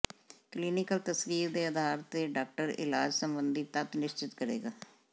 clinical ਤਸਵੀਰ ਦੇ ਆਧਾਰ ਤੇ ਡਾਕਟਰ ਇਲਾਜ ਸੰਬੰਧੀ ਤੱਤ ਨਿਸ਼ਚਿਤ ਕਰੇਗਾ